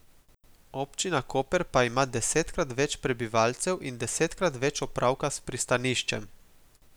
Občina Koper pa ima desetkrat več prebivalcev in desetkrat več opravka s pristaniščem.